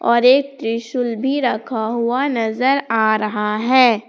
और एक त्रिशूल भी रखा हुआ नजर आ रहा है।